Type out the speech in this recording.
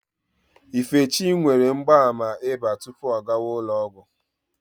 Ifechi nwere mgbaàmà ịba tupu ọ gawa ụlọ ọgwụ.